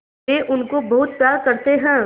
वे उनको बहुत प्यार करते हैं